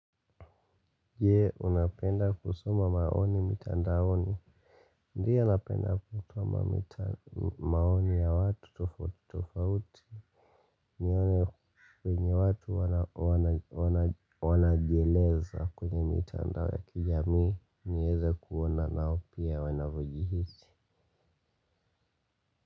Je unapenda kusoma maoni mitandaoni. Ndiyo napenda kusoma maoni ya watu tofauti tofauti. Nione venye watu wanajieleza kwenye mitandao ya kijamii nieze kuona nao pia wanavyojihisi.